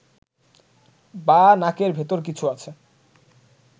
বা নাকের ভেতর কিছু আছে